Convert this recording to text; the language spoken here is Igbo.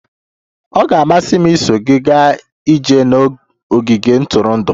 Ọ ga-amasị m iso gị gaa ije n'ogige ntụrụndụ.